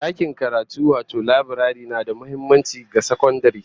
Dakin karatu wato laburare na da muhimmanci ga sakandare